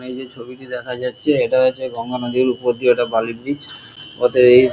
এখানে যে ছবিটি দেখা যাচ্ছে এটা হচ্ছে গঙ্গা নদীর উপর দিয়ে ওটা বালি ব্রিজ --